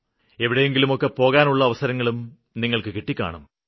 എവിടെങ്കിലും ഒക്കെ പോകാനുള്ള അവസരങ്ങളും നിങ്ങള്ക്ക് കിട്ടിക്കാണും